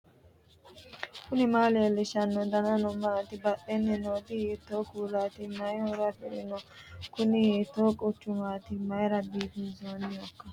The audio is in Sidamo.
knuni maa leellishanno ? danano maati ? badheenni noori hiitto kuulaati ? mayi horo afirino ? kuni hiiko quchumaati mayra biifinsoonnihoikka